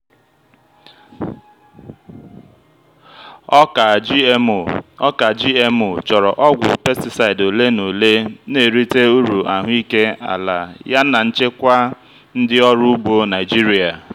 ọka gmo ọka gmo chọrọ ọgwụ pesticide ole na ole na-erite uru ahụike ala yana nchekwa ndị ọrụ ugbo naijiria.